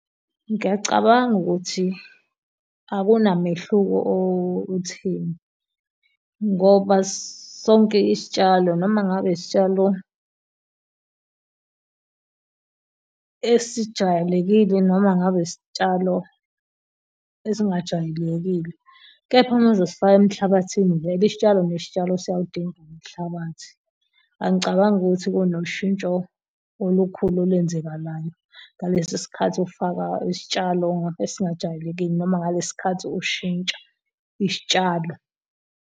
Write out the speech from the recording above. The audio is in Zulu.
Ngiyacabanga ukuthi akunamehluko otheni ngoba sonke isitshalo noma ngabe isitshalo esijwayelekile noma ngabe isitshalo esingajwayelekile. Kepha uma uzosifaka emhlabathini vele isitshalo nezitshalo siyawudinga umhlabathi. Angicabangi ukuthi kunoshintsho olukhulu olwenzakalayo ngalesi sikhathi ofaka isitshalo esingajwayelekile noma ngalesi khathi ushintsha isitshalo.